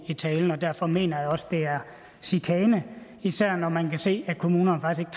i talen og derfor mener jeg også det er chikane især når man kan se at kommunerne faktisk